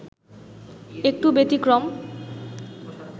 একটু ব্যতিক্রম